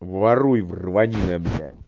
воруй вранина бля